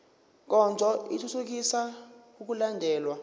nkonzo ithuthukisa ukulandelwa